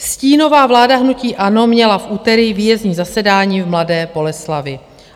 Stínová vláda hnutí ANO měla v úterý výjezdní zasedání v Mladé Boleslavi.